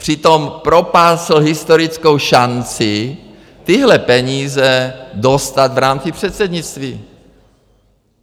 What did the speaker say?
Přitom propásl historickou šanci tyhle peníze dostat v rámci předsednictví.